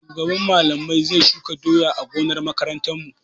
Shugaban Mallamai zai shuka doya a gonar makarantarmu.